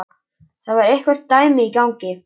Það var eitthvert dæmi í gangi.